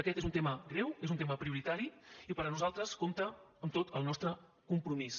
aquest és un tema greu és un tema prioritari i per a nosaltres compta amb tot el nostre compromís